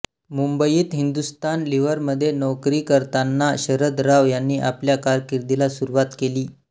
मुंबईत हिंदुस्थान लिव्हरमध्ये नोकरी करताना शरद राव यांनी आपल्या कारकिर्दीला सुरुवात केली